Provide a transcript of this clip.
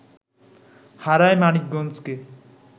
হারায় মানিকগঞ্জকে